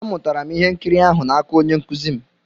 Amụtara m ihe nkiri ahụ n'aka onye nkụzi m.